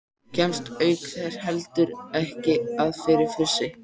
Kemst auk þess heldur ekki að fyrir fussi